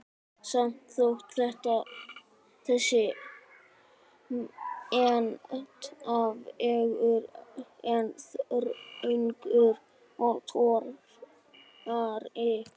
Samt þótti þessi menntavegur enn þröngur og torfarinn.